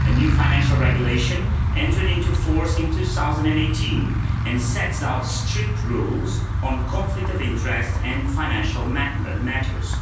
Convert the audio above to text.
A new financial regulation entered into force in 2018 and sets out strict rules on conflict of interest and financial matters.